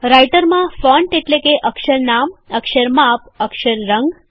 રાઈટરમાં ફોન્ટ એટલે કે અક્ષર નામ અક્ષર માપ અક્ષર રંગ